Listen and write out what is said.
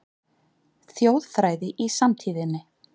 Þjóðfræði í samtíðinni